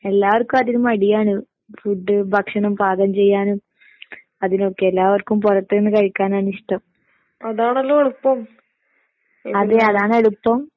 എല്ലാർക്കും അതിന് മടിയാണ്. ഫുഡ് ഭക്ഷണം പാകം ചെയ്യാനും അതിനൊക്കെ എല്ലാവർക്കും പൊറത്ത്‌ന്ന് കഴിക്കാനാണിഷ്ടം. അതെ അതാണെളുപ്പം.